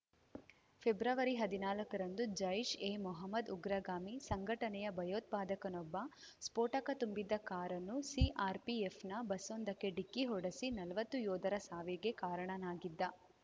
ಫೆಬ್ರವರಿಹದಿನಾಲ್ಕರಂದು ಜೈಷ್‌ ಎ ಮೊಹಮ್ಮದ್‌ ಉಗ್ರಗಾಮಿ ಸಂಘಟನೆಯ ಭಯೋತ್ಪಾದಕನೊಬ್ಬ ಸ್ಫೋಟಕ ತುಂಬಿದ್ದ ಕಾರನ್ನು ಸಿಆರ್‌ಪಿಎಫ್‌ನ ಬಸ್ಸೊಂದಕ್ಕೆ ಡಿಕ್ಕಿ ಹೊಡೆಸಿ ನಲ್ವತ್ತು ಯೋಧರ ಸಾವಿಗೆ ಕಾರಣನಾಗಿದ್ದ